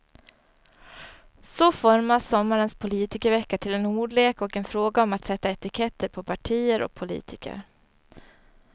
Så formas sommarens politikervecka till en ordlek och en fråga om att sätta etiketter på partier och politiker.